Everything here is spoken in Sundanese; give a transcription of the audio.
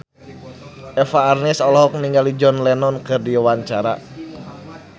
Eva Arnaz olohok ningali John Lennon keur diwawancara